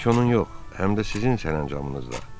Tək onun yox, həm də sizin sərəncamınızda.